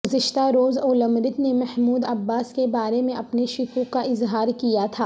گزشتہ روز اولمرت نے محمود عباس کے بارے میں اپنے شکوک کا اظہار کیا تھا